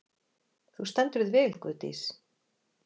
Þú stendur þig vel, Guðdís!